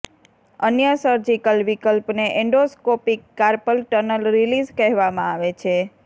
અન્ય સર્જિકલ વિકલ્પને endoscopic carpal tunnel release કહેવામાં આવે છે